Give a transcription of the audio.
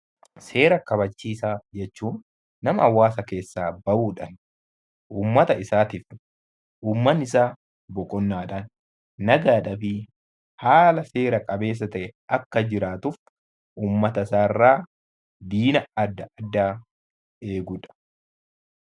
Seera kabachiisaa jechuun nama hawaasa keessaa bahuudhaan uummata isaatiif, uummatni isaa boqonnaadhaan, nagaadhaa fi haala seera qabeessa ta'een akka jiraatuuf uummata isaarraa diina adda addaa eegudha.